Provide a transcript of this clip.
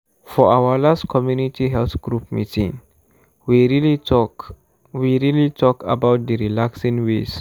for our last community health group meeting we really talk we really talk about d relaxing ways.